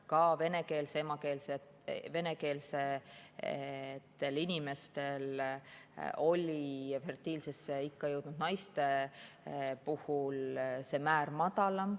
Ka venekeelsetel inimestel oli fertiilse jõudnud naiste puhul see määr madalam.